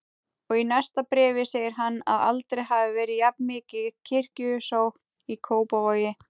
Og í næsta bréfi segir hann að aldrei hafi verið jafnmikil kirkjusókn í Kópavogi.